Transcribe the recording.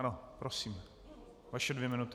Ano, prosím, vaše dvě minuty.